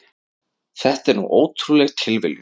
Þetta er nú ótrúleg tilviljun.